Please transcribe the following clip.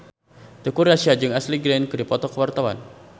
Teuku Rassya jeung Ashley Greene keur dipoto ku wartawan